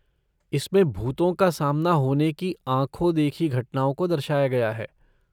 इसमें भूतों का सामना होने की आँखो देखी घटनाओं को दर्शाया गया है।